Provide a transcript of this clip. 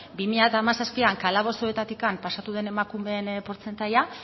bi mila hamazazpian kalabozoetatik pasatu den emakumeen portzentaia